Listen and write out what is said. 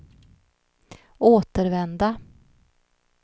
återvända